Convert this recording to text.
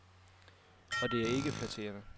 Og det er ikke flatterende.